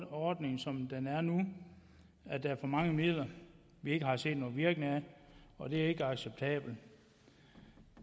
ordningen som den er nu er for mange midler vi ikke har set nogen virkning af og det er ikke acceptabelt